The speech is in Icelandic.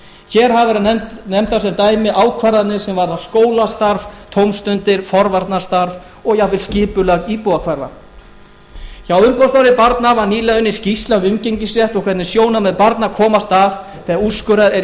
hér hafa verið nefndar sem dæmi ákvarðanir sem varða skólastarf tómstundir forvarnastarf og jafnvel skipulag íbúðahverfa hjá umboðsmanni barna var nýlega unnin skýrsla um umgengnisrétt og hvernig sjónarmið barna komast að ef úrskurðað er í